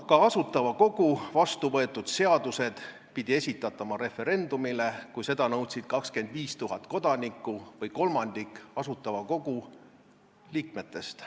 Ka Asutava Kogu vastu võetud seadused pidi esitatama referendumile, kui seda nõudsid 25 000 kodanikku või kolmandik Asutava Kogu liikmetest.